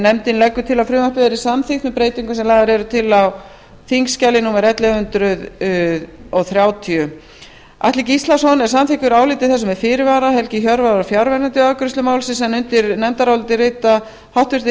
nefndin leggur til að frumvarpið verði samþykkt með breytingum sem lagðar eru til á sérstöku þingskjali atli gíslason er samþykkur áliti þessu með fyrirvara helgi hjörvar var fjarverandi við afgreiðslu málsins undir nefndarálitið rita háttvirtir